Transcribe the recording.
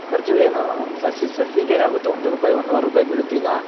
ಖರ್ಚು ಏನು ಒಂದ್ ಸಸಿ ಗೆ ಸಸಿಗೆ ಆಗುತ್ತೆ ಒಂದ್ ರೂಪಾಯ್ ಒಂದುವರ್ ರೂಪಾಯ್ ಬೀಳುತ್ ಈಗ.